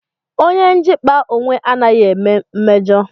Onye njikpa onwe anaghị eme mmejo